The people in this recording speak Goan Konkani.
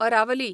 अरावली